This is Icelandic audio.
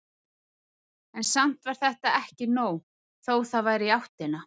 En samt var þetta ekki nóg, þó það væri í áttina.